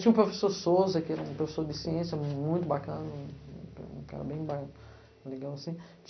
Tinha o professor Souza, que era um professor de ciência muito bacana, um um um cara bem ba, legal assim.